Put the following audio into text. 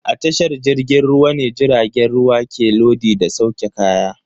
A tashar jirgin ruwa ne jiragen ruwa ke lodi da sauke kaya.